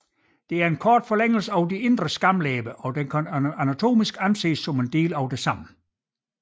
Det er en kort forlængelse af de indre skamlæber og kan anatomisk anses som en del af samme